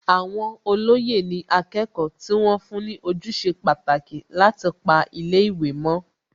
Àwọn olóyè ni akẹ́kọ̀ọ́ tí wọ́n fún ní ojúṣe pàtàkì láti pa ilé ìwé mọ́